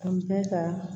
An bɛ ka